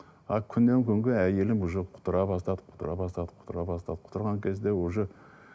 а күннен күнге әйелім уже құтыра бастады құтыра бастады құтыра бастады құтырған кезде уже